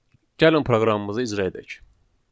Gəlin proqramımızı icra edək.